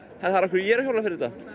af hverju ég er að hjóla fyrir